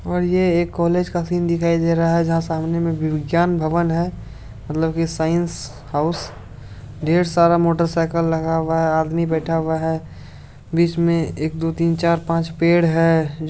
और ये एक कॉलेज का सीन दिखाई दे रहा है जहां सामने में वि विज्ञान भवन हैं मतलब ये साइंस हाउस ढेर सारा मोटर साइकिल लगा हुआ है आदमी बैठा हुआ है बीच में एक दो तीन चार पांच पेड़ है ।